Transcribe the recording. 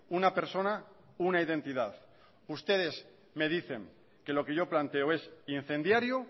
una persona una identidad ustedes me dicen que lo que yo planteo es incendiario